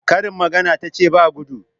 Karin magana tace ba guɗu?